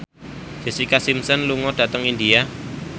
Jessica Simpson lunga dhateng India